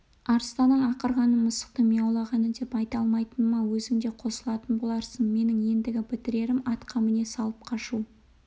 арыстанның ақырғанын мысықтың мияулағаны деп айта алмайтыныма өзің де қосылатын боларсың менің ендігі бітірерім атқа міне салып қашу